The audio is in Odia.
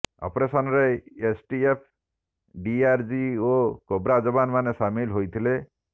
ଅପରେସନରେ ଏସଟିଏଫ୍ ଡିଆରଜି ଓ କୋବ୍ରା ଯବାନ ମାନେ ସାମିଲ ହୋଇଥିଲେ